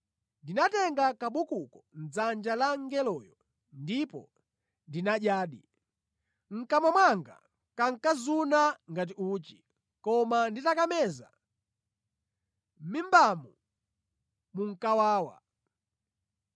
Ndinatenga kabukuko mʼdzanja la mngeloyo ndipo ndinadyadi. Mʼkamwa mwanga kankazuna ngati uchi, koma nditakameza, mʼmimbamu munkawawa.